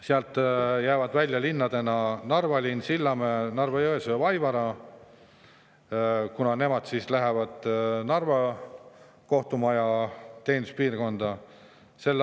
Sealt jäävad välja linnadena Narva, Sillamäe, Narva-Jõesuu ja Vaivara, kuna nemad jäävad Narva kohtumaja teeninduspiirkonda.